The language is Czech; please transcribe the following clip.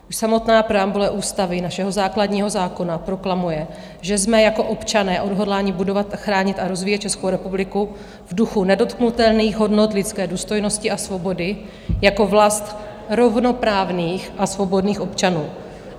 Už samotná preambule ústavy, našeho základního zákona, proklamuje, že jsme jako občané odhodláni budovat, chránit a rozvíjet Českou republiku v duchu nedotknutelných hodnot lidské důstojnosti a svobody jako vlast rovnoprávných a svobodných občanů.